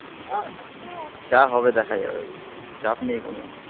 আহ যা হবে দেখা যাবে. চাপ নেই কোন.